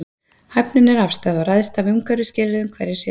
Hæfnin er afstæð og ræðst af umhverfisskilyrðum hverju sinni.